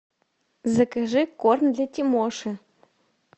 закажи корм для тимоши